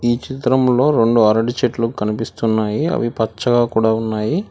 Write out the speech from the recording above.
ఈ చిత్రంలో రొండు అరటి చెట్లు కనిపిస్తున్నాయి అవి పచ్చగా కూడా ఉన్నాయి.